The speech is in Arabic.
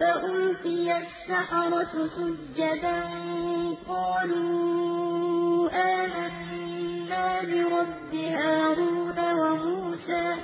فَأُلْقِيَ السَّحَرَةُ سُجَّدًا قَالُوا آمَنَّا بِرَبِّ هَارُونَ وَمُوسَىٰ